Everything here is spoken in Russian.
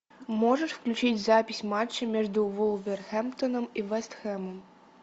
можешь включить запись матча между вулверхэмптоном и вест хэмом